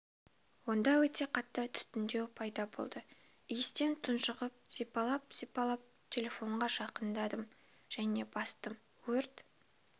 онда өте қатты түтіндеу пайда болды иістен тұңшығып сипалап сипалап телефонға жақындадым және бастым өрт